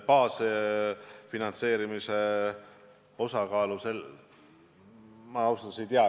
Baasfinantseerimise osakaalu ma ausalt öeldes ei tea.